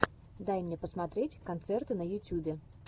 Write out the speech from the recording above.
дай мне посмотреть концерты на ютюбе